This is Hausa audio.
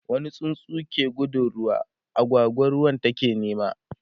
wani tsuntsu ke gudun ruwa, agwagwa ruwan take nema